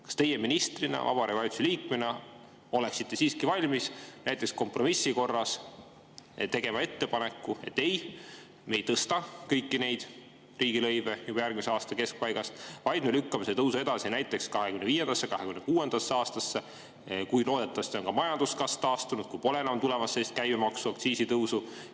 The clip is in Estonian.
Kas teie ministrina, Vabariigi Valitsuse liikmena oleksite siiski valmis näiteks kompromissi korras tegema ettepaneku, et ei, me ei tõsta kõiki neid riigilõive juba järgmise aasta keskpaigast, vaid me lükkame selle tõusu edasi näiteks 2025. ja 2026. aastasse, kui loodetavasti on ka majanduskasv taastunud, kui pole enam tulemas sellist käibemaksu tõusu ja aktsiisitõusu?